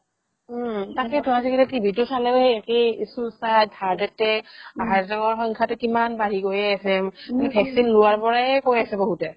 উম তাকেতো আজিকালি টিভিতো চালেই সেই একেই suicide, heart attack heart attack ৰ সংখ্যাতো কিমান বাঢ়ি গৈয়ে আছে vaccine লোৱাৰ পৰাই কৈ আছে বহুতে